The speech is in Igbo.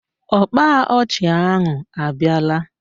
Ọkpa ọchị ahụ abịara?